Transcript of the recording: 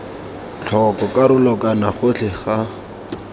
tlhoko karolo kana gotlhe ga